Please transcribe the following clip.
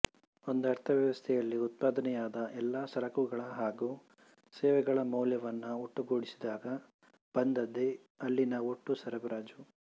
ಒಂದು ಅರ್ಥವ್ಯವಸ್ಥೆಯಲ್ಲಿ ಉತ್ಪಾದನೆಯಾದ ಎಲ್ಲ ಸರಕುಗಳ ಹಾಗೂ ಸೇವೆಗಳ ಮೌಲ್ಯವನ್ನೂ ಒಟ್ಟುಗೂಡಿಸಿದಾಗ ಬಂದದ್ದೇ ಅಲ್ಲಿನ ಒಟ್ಟು ಸರಬರಾಯಿ